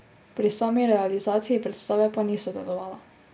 Pri sami realizaciji predstave pa ni sodelovala.